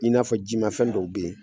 I n'a fɔ ji mafɛn dɔw be yen